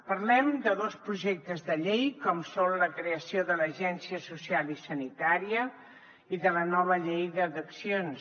parlem de dos projectes de llei com són la creació de l’agència social i sanitària i de la nova llei d’addiccions